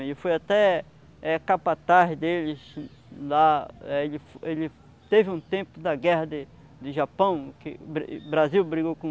Ele foi até eh capataz deles lá, eh ele ele teve um tempo da guerra de de Japão, que o Brasil brigou com